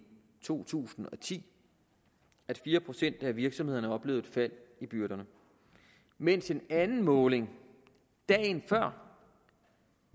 to tusind og ti at fire procent af virksomhederne oplevede et fald i byrderne mens en anden måling dagen før